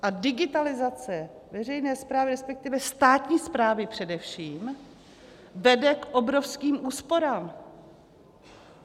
A digitalizace veřejné správy, respektive státní správy především, vede k obrovským úsporám.